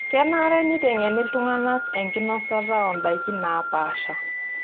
Kenare neitengeni iltungana enkinosata oo ndaiki naapasha.